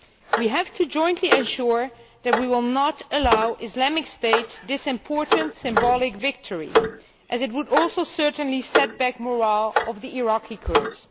We have to jointly ensure that we will not allow Islamic State this important symbolic victory, as it would also certainly set back the morale of the Iraqi Kurds.